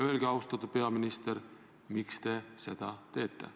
Öelge, austatud peaminister, miks te seda teete.